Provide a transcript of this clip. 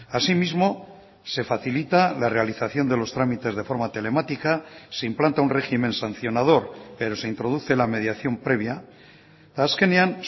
así mismo se facilita la realización de los trámites de forma telemática se implanta un régimen sancionador pero se introduce la mediación previa eta azkenean